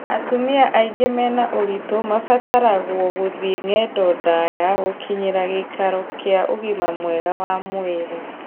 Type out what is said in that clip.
Atumia aingĩ mena ũritũ mabataragwo gũthie ng'endo ndaya gũkinyĩra gĩikaro kĩa ũgima mwega wa mwĩrĩ